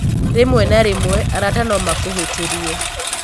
Rĩmwe na rĩmwe, arata no makũhĩtĩrie.